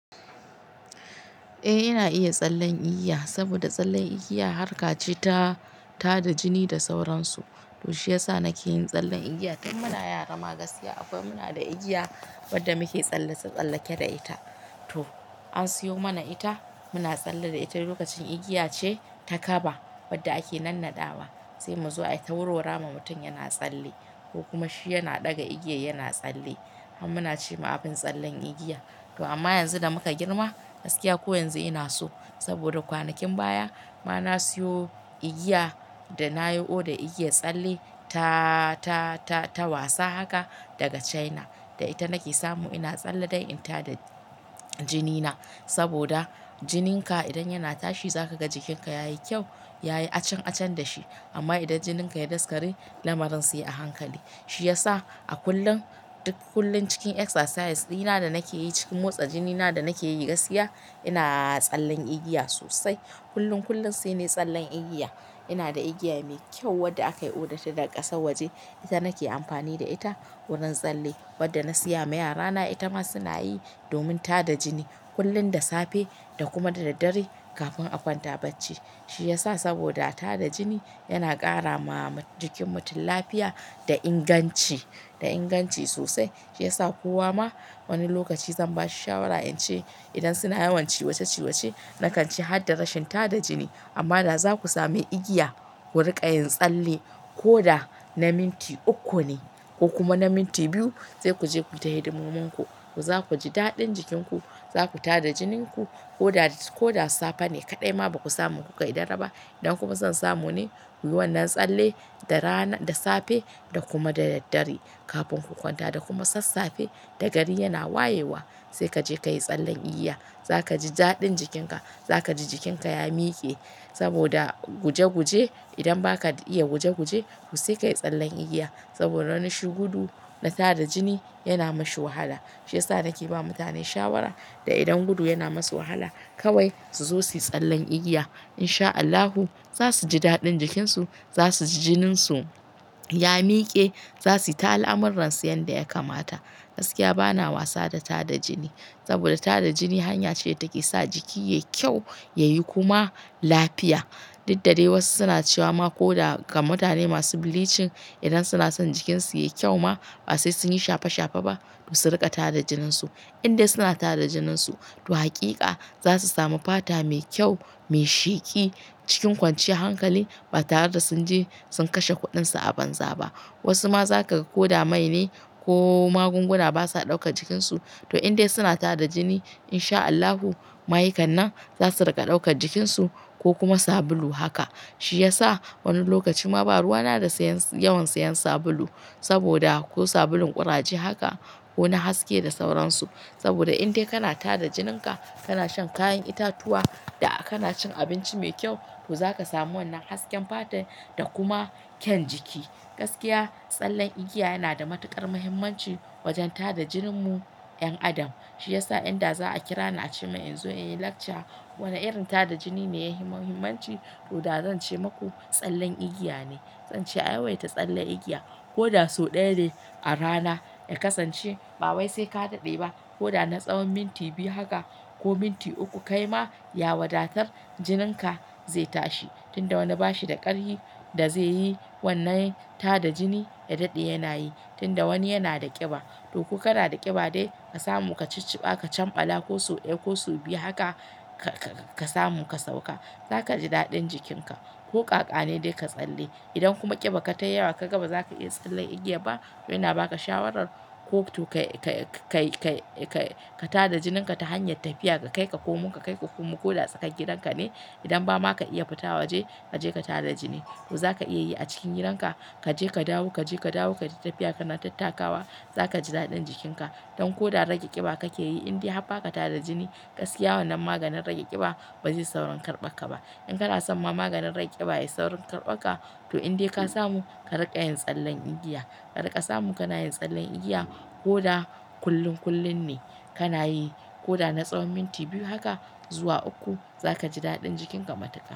Eh ina iya tsallen igiya, saboda tsallen igiya harka ce ta-ta da jini da sauransu. To shi yasa nake yin tsallen igiya. To muna yara ma gaskiya akwai muna da igiya wadda muke tsallasa, tsallake da ita. To an siyo mana ita muna tsalle da ita lokacin igiya ce ta kaba wadda ake nannaɗawa sai mu zo ai tauro rama mutum yana tsalle ko kuma shi yana ɗaga igiya yana tsalle. Muna ce ma abin tsallen igiya. To amma yanzu da muka girma gaskiya ko yanzu ina so saboda kwanakin baya ma na siyo igiya da na yi oda igiya tsalle ta-ta-ta wasa haka daga China da ita nake samu ina tsalle da ita da jinina saboda jinin ka idan yana tashi zaka ga jikin ka yayi kyau, yayi acan acan da shi. Amma idan jinin ka ya daskare lamarin sai a hankali. Shi yasa a kullun duk kullun cikin exercise dina da nake yi cikin motsa jinina da nake yi gaskiya ina tsallen igiya sosai. Kullun kullun sai ne tsallen igiya. Ina da igiya mai kyau wadda akayi odarta daga ƙasar waje ita nake amfani da ita wurin tsalle wadda na siya ma yarana ita ma suna yi domin tada jini kullum da safe da kuma da dare kafin a kwanta bacci. Shi ya sa saboda tada jini yana ƙara ma jikin mutum lafiya da inganci da inganci sosai. Shi yasa kowa ma wani lokaci zan ba shi shawara in ce idan suna yawan ciwace-ciwace nakanci kada rashin tada jini. Amma da zaku sami igiya ku riƙa yin tsalle ko da na minti uku ne ko kuma na minti biyu zai ku je ku tahedi muminku ku zakuji daɗin jikin ku zaku tada jininku. Ko da ko da safe ne kaɗai ma baku samu ku gaida raba idan kuma zan samu ni ku yi wannan tsalle da rana da safe da kuma da daddare kafin ku kwanta da kuma sassafe da gari yana wayewa sai ka je ka yi tsallen igiya. Zaka ji daɗin jikin ka. Zaka ji jikin ka ya mike saboda guje-guje idan ba ka iya guje-guje ku sai ka yi tsallen igiya saboda ranan shi gudu da tada jini yana mashi wahala. Shi yasa nake ba mutane shawara da idan gudu yana masu wahala kawai su zo su yi tsallen igiya. In sha Allahu za su ji daɗin jikin su, za su ji jinin su ya mike, za su ji ta al'amuransu yanda ya kamata. Gaskiya bana wasa da tada jini saboda tada jini hanya ce da take sa jiki yayi kyau, yayi kuma lafiya. Duk dade wasu suna cewa ma ko da ga mutane masu bleaching idan suna son jikin su yayi kyau ma ba sai sun yi shafe-shafe ba su riƙa tada jinin su. Inde suna tada jininsu to hakika za su samu fata mai kyau, mai sheki cikin kwanciyar hankali ba tare da sun je sun kashe kuɗin su a banza ba. Wasu ma za kaga ko dama ne ko magunguna basa ɗauka jikin su to indai suna tada jini in sha Allahu, ma'aikannan za su riƙa ɗaukar jikin su ko kuma sabulu haka. Shi ya sa wani lokaci ma ba ruwa na da siyan yawan siyan sabulu saboda ko sabulun ƙuraje haka ko na haske da sauransu. Saboda indai kana tada jinin ka, kana shan kayan itatuwa da kana cin abinci mai kyau to zaka samu wannan hasken fata da kuma kyau jiki. Gaskiya tsallen igiya yana da matuƙar muhimmanci wajen tada jinin mu 'yan adam. Shi yasa inda za a kira ni a ce min in zo in yi lecture wane irin tada jini ne ya yi muhimmanci to da zan ce maku tsallen igiya ne. Zan ce a yawaita tsallen igiya ko da sau ɗaya ne a rana. Ya kasance ba wai sai ka daɗe ba ko da na tsawon minti biyu haka ko minti uku kai ma ya wadatar jinin ka zai tashi tun da wani bashi da ƙarfi da zai yi wannan tada jini ya daɗe yana yi tun da wani yana da ƙiba. To ku kana da ƙiba dai ka samu ka cicciba ka cambala ko sau ɗaya ko sau biyu haka ka-ka samu ka sauka. Zaka ji daɗin jikin ka ko ƙaƙa ne dai ka tsalle. Idan kuma ƙiba ka tayi yawa ka ga ba za ka iya tsallen igiya ba to ina ba ka shawarar ko to ka-ka-ka-ka-ka tada jinin ka ta hanyar tafiya ka kai ka komin ka kai ka komin ko da tsakan gidan ka ne idan ba ma ka iya fita waje kaje ka tada jini. To zaka iya yi a cikin gidan ka kaje ka dawo kaje ka dawo kaji tafiya kana tattakawa zaka ji daɗin jikin ka. Don ko da rage ƙiba kake yi indai har ba ka tada jini gaskiya wannan maganin rage ƙiba ba zai yi saurin karɓaka ba. In kana son ma maganin rage ƙiba yayi saurin karɓaka to indai ka samu ka riƙa yin tsallen igiya. Ka riƙa samu kana yin tsallen igiya ko da kullum kullum ne kana yi ko da na tsawon minti biyu haka zuwa uku za kaji daɗin jikin ka matukar.